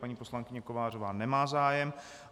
Paní poslankyně Kovářová nemá zájem.